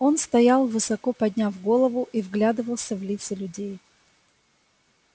он стоял высоко подняв голову и вглядывался в лица людей